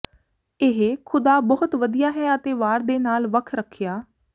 ਇਹ ਖ਼ੁਦਾ ਬਹੁਤ ਵਧੀਆ ਹੈ ਅਤੇ ਵਾਰ ਦੇ ਨਾਲ ਵੱਖ ਰੱਖਿਆ